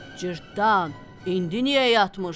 Cırtdan, indi niyə yatmırsan?